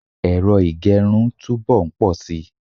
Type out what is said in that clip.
ero igerun tu bo nposi